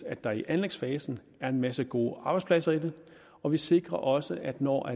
at der i anlægsfasen er en masse gode arbejdspladser i den og vi sikrer også at når